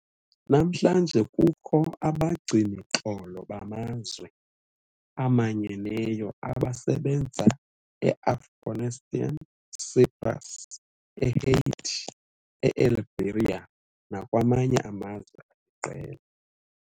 Namhlanje kukho abagcini-xolo bamazwe amanyeneyo abasebenza eAfghanistan, eCyprus, eHaiti, e-Liberia nakwamanye amazwe aliqela.